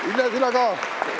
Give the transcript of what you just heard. Vilja, sina ka.